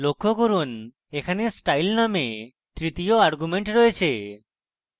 লক্ষ্য করুন এখানে স্টাইল নামক তৃতীয় argument রয়েছে